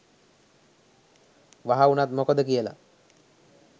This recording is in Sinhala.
වහ උනත් මොකද කියල.